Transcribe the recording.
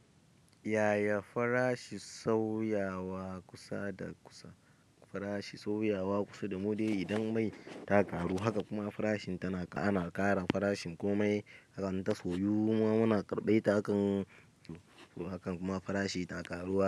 Yaya farashin sauyawa kusa da kusa? Farashin sauyawa kusa da wuri idan mai ɗaka ru haka kuma farashin tana ana ƙara farashin komai. Haka an ta soyu muna karɓai takan amma farashi ta karuwa.